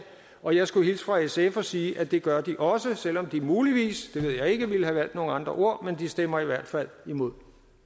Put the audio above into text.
og jeg skulle hilse fra sf og sige at det gør de også selv om de muligvis det ved jeg ikke ville have valgt nogle andre ord men de stemmer i hvert fald imod